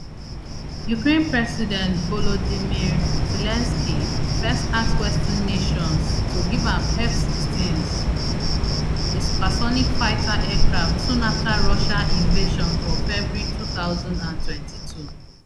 ukraine president volodymyr zelensky first ask western nations to give am fsixteens a supersonic fighter aircraft soon afta russia invasion for february two thousand and twenty-two